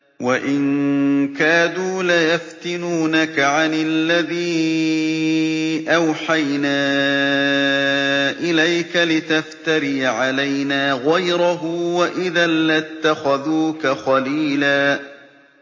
وَإِن كَادُوا لَيَفْتِنُونَكَ عَنِ الَّذِي أَوْحَيْنَا إِلَيْكَ لِتَفْتَرِيَ عَلَيْنَا غَيْرَهُ ۖ وَإِذًا لَّاتَّخَذُوكَ خَلِيلًا